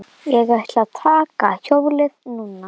Ég ætla að taka hjólið núna.